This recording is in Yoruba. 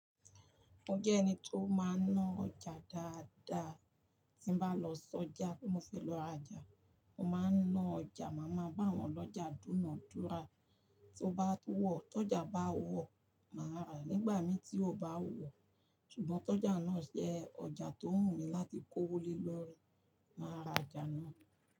Mo jẹ́ ẹni tó máa ń ná ọjà dáadáa. Mo máa ń lo soja, mo fẹ́ lọ rajà, mo máa ń náà ọjà. Màá máa bàwọn ọlọ́jà dúnàádúrà. Tí ó bá wọ̀, tọ́jà bá wọ̀, màá rà nígbà mi tí ó bá wọ̀. Ṣùgbọ́n tọ́jà náà jẹ́ ọjà tó ń wùmí láti kó wọlé lọ rẹ, màá ra ọjà náà.